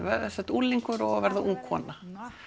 unglingur að verða ung kona